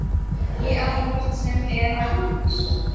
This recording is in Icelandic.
Ég ætla hvort sem er að ganga svolítið um.